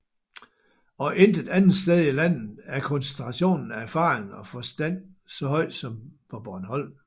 Og intet andet sted i landet er koncentrationen af erfaring og forstand så høj som på Bornholm